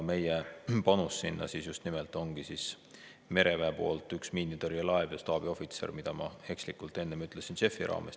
Meie panus sinna on mereväe poolt üks miinitõrjelaev ja staabiohvitser, mida ma ekslikult nimetasin JEF-ist rääkides.